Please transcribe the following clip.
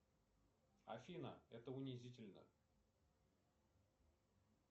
афина это унизительно